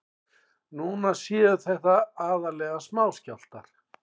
Núna séu þetta aðallega smáskjálftar